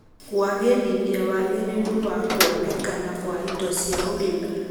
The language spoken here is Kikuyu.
kũagĩrithia wagĩrĩru wa kuonekana kwa indo cia ũrĩmi